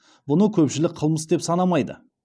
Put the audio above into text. бұны көпшілік қылмыс деп санамайды